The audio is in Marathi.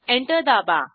एंटर दाबा